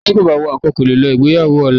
Ẹni tí kò bá wọ àńkò kò lè lọ ìgbéyàwó ọ̀la yẹn